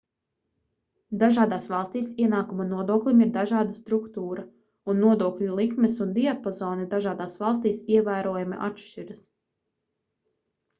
dažādās valstīs ienākuma nodoklim ir dažāda struktūra un nodokļu likmes un diapazoni dažādās valstīs ievērojami atšķiras